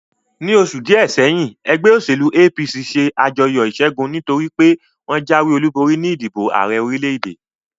Ní oṣù díè sẹ́yìn, ẹgbẹ́ òṣèlú APC ṣe àjọyọ̀ ìṣẹ́gun, nítorí pé wọ́n jáwé olúborí ní ìdìbò Ààrẹ orílè-èdè